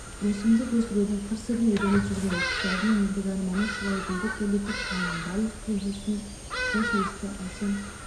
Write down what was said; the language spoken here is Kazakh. өсімдік өсірудің қыр-сырын үйреніп жүрген оқушылардың ендігі арманы шырайгүлді көбейтіп қаланың барлық көшесін хош иісті әсем